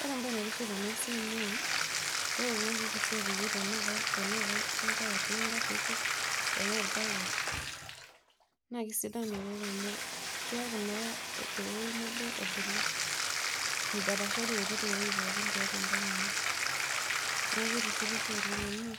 Ore embae naitiship enasia naa ore ouja kishi opiki tanaa oltar le ngari tanaa orbaket na kesidai oleng amu keaku naa tewueji nabo ebulu idapashari aiput ewoi pookin tiatua enkang ino, neaku kitishipisho olemg amu